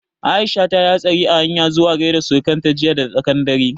Aisha ta yi hastari a hanyan zuwa gaida surukan ta jiya da tsaƙan dare